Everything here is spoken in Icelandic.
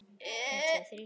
Þín dóttir, Auður.